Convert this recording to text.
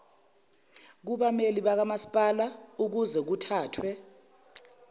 kubameli bakamasipala ukuzekuthathwe